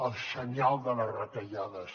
el senyal de les retallades